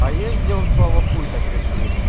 а есть где он слово хуй так рисует